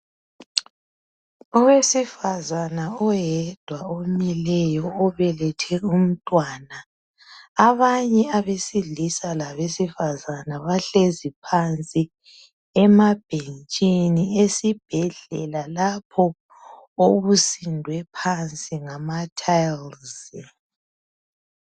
Owesifazana oyedwa omileyo obelethe umntwana. Abanye abesilisa labesifazana bahlezi phansi emabhentshini esibhedlela lapho okusindwe phansi ngama tiles.